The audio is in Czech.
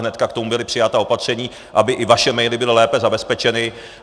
Hned k tomu byla přijata opatření, aby i vaše maily byly lépe zabezpečeny.